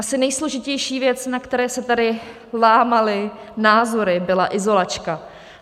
Asi nejsložitější věc, na které se tady lámaly názory, byla izolačka.